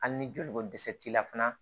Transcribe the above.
Hali ni joli ko dɛsɛ t'i la fana